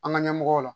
An ka ɲɛmɔgɔw la